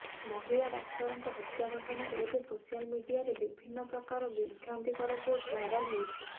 ମହିଳା ଡାକ୍ତରଙ୍କ ହତ୍ୟା ଘଟଣାରେ ଏବେ ସୋସିଆଲ ମିଡିଆରେ ବିଭିନ୍ନ ପ୍ରକାର ବିଭ୍ରାନ୍ତିକର ପୋଷ୍ଟ ଭାଇରାଲ ହେଉଛି